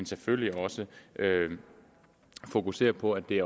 selvfølgelig også fokusere på at det